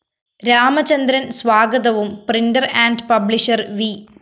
രാമചന്ദ്രന്‍ സ്വാഗതവും printer and publisher V